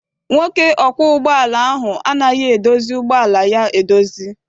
Nwoke ọkwọ ụgbọala ahụ anaghị edozi ụgbọala ya edozi.